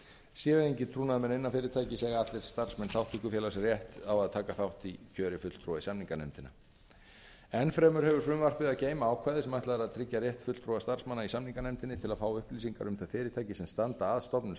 séu engir trúnaðarmenn innan fyrirtækis eiga allir starfsmenn þátttökufélags rétt á að taka þátt í kjöri fulltrúa í samninganefndina enn fremur hefur frumvarpið að geyma ákvæði sem ætlað er að tryggja rétt fulltrúa starfsmanna í samninganefndinni til að fá upplýsingar um þau fyrirtæki sem standa að stofnun